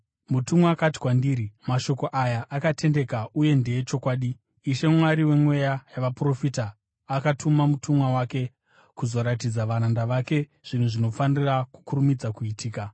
Mutumwa akati kwandiri, “Mashoko aya akatendeka uye ndeechokwadi. Ishe, Mwari wemweya yavaprofita, akatuma mutumwa wake kuzoratidza varanda vake zvinhu zvinofanira kukurumidza kuitika.”